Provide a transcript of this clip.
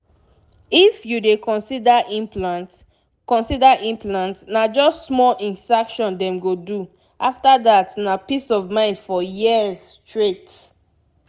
if you dey consider implant consider implant na just small insertion dem go do after that na peace of mind for years straight